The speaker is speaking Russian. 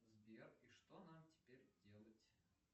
сбер и что нам теперь делать